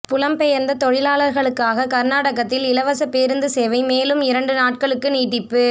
புலம்பெயர்ந்த தொழிலாளர்களுக்காக கர்நாடகத்தில் இலவச பேருந்து சேவை மேலும் இரண்டு நாட்களுக்கு நீட்டிப்பு